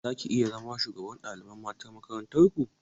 Zaki iya zama shugabar ɗalibai matan makarantar ku?